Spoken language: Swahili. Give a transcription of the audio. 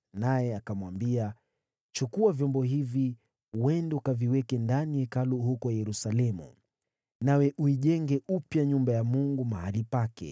naye akamwambia, ‘Chukua vyombo hivi uende ukaviweke ndani ya Hekalu huko Yerusalemu. Nawe uijenge upya nyumba ya Mungu mahali pake.’